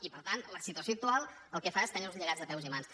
i per tant la situació actual el que fa es tenir nos lligats de peus i mans